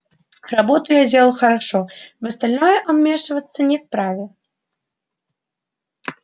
работу я делал хорошо в остальное он вмешиваться не вправе